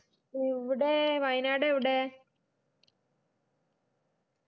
എവിടെ വയനാട് എവിടെ